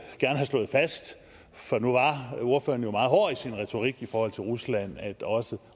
slået fast for nu var ordføreren jo meget hård i sin retorik i forhold til rusland at